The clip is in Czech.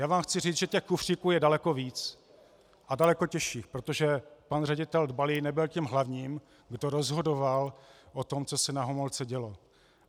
Já vám chci říct, že těch kufříků je daleko víc a daleko těžších, protože pan ředitel Dbalý nebyl tím hlavním, kdo rozhodoval o tom, co se na Homolce dělo.